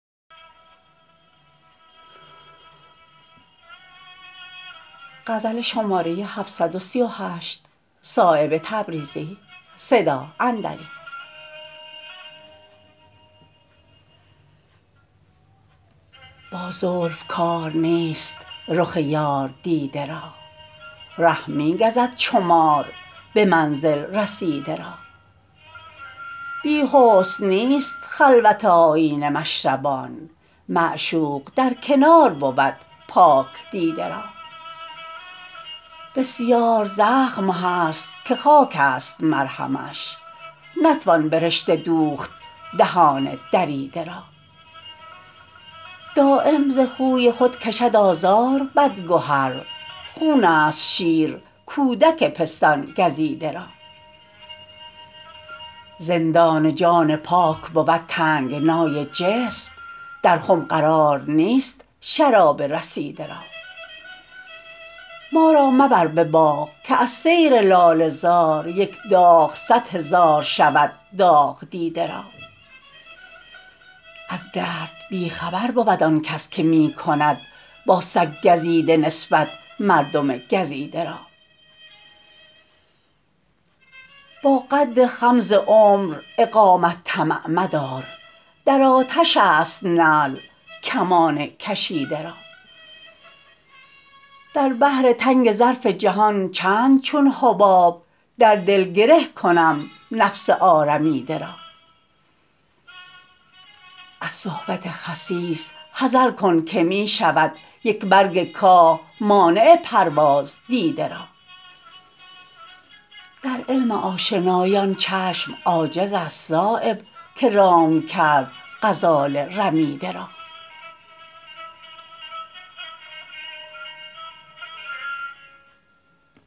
با زلف کار نیست رخ یار دیده را ره می گزد چو مار به منزل رسیده را بی حسن نیست خلوت آیینه مشربان معشوق در کنار بود پاک دیده را بسیار زخم هست که خاک است مرهمش نتوان به رشته دوخت دهان دریده را دایم ز خوی خود کشد آزار بدگهر خون است شیر کودک پستان گزیده را زندان جان پاک بود تنگنای جسم در خم قرار نیست شراب رسیده را ما را مبر به باغ که از سیر لاله زار یک داغ صد هزار شود داغ دیده را از درد بی خبر بود آن کس که می کند با سگ گزیده نسبت مردم گزیده را با قد خم ز عمر اقامت طمع مدار در آتش است نعل کمان کشیده را در بحر تنگ ظرف جهان چند چون حباب در دل گره کنم نفس آرمیده را از صحبت خسیس حذر کن که می شود یک برگ کاه مانع پرواز دیده را در علم آشنایی آن چشم عاجزست صایب که رام کرد غزال رمیده را